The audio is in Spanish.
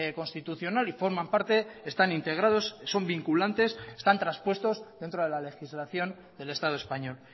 constitucional y forman parte están integrados son vinculantes están traspuestos dentro de la legislación del estado español